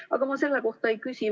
Aga ma selle kohta ei küsi.